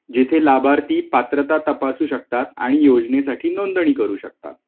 जिथे लाभार्थी पात्रता तपासू शकतात आणि योजनेसाठी नोंदणी करू शकतात